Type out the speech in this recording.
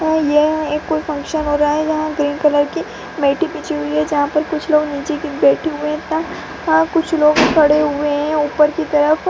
तो यह एक कोई फंक्शन हो रहा है यहाँ ग्रीन कलर की मैटे बिछी हुई है जहाँ पर कुछ लोग नीचे भी बैठे हुए हाँ तथा कुछ लोग खड़े हुए हैं ऊपर की तरफ --